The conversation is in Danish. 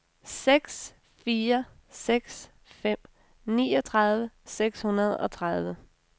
seks fire seks fem niogtredive seks hundrede og tredive